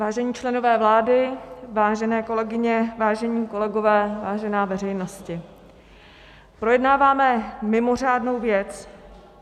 Vážení členové vlády, vážené kolegyně, vážení kolegové, vážená veřejnosti, projednáváme mimořádnou věc.